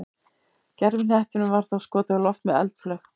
gervihnettinum var þá skotið á loft með eldflaug